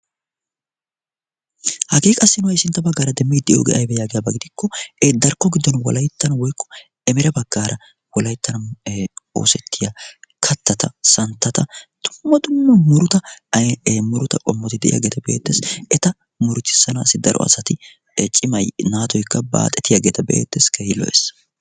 hagee qassi na'ay sintta baggaara demmi i de'ioogee aybba yaagiyaabaa gidikko darkko giddon wolayttan woyqqo emera baggaara wolayttan oosettiya kattata santtata tummatunne muruta muruta qommoti de'iyaageeta beettees eta murutissanaassi daro asati cimay naatoykka baaxetiyaageeta beettees kehii lo'ees